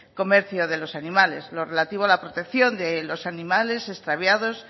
comercio de los animales lo relativo a la protección de los animales extraviados